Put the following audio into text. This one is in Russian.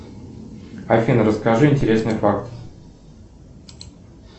афина расскажи интересный факт